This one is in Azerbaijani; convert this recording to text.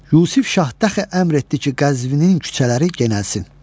Yusif şah dəxi əmr etdi ki, Qəzvinin küçələri genəlsin.